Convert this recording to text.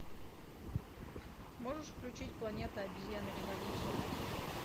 можешь включить планета обезьян революция